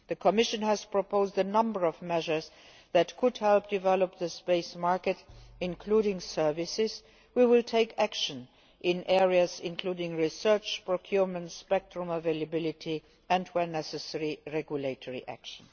The Commission has proposed a number of measures which could help develop the space market, including services. We will take action in areas including research, procurement and spectrum availability and, where necessary, regulatory action.